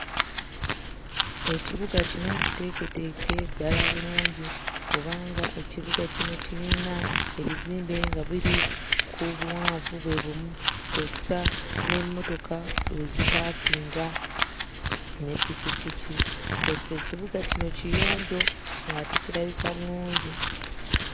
Ekibuga kino kiteeketeeke ddala bulungi kubanga ekibuga kino kirina ebizimbe nga biri ku buwanvu bwe bumu kw'ossa n'emmotoka we zipaakinga ne pikipiki, kw'ossa ekibuga kino kiyonjo ng'ate kirabika bulungi.